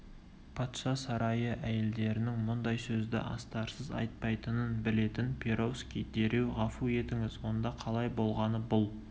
патша сарайы әйелдерінің мұндай сөзді астарсыз айтпайтынын білетін перовский дереу ғафу етіңіз онда қалай болғаны бұл